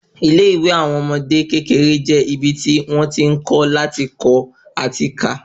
Ilé ìwé àwọn ọmọdé kékeré je ibi ti wọ́n ti n kọ́ lati kọ ati ká